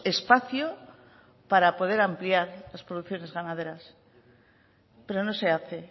espacio para poder ampliar las producciones ganaderas pero no se hace